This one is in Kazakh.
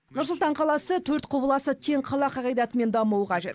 нұр сұлтан қаласы төрт құбыласы тең қала қағидатымен дамуы қажет